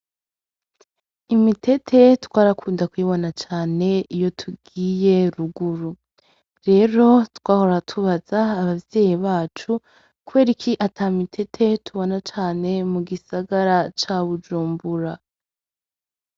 Imitete twarakunda kuyibona cane iyo tugiye ruguru. Rero twahora tubaza abavyeyi bacu, kubera iki ata mitete tubona cane mugisagara ca Bujumbura.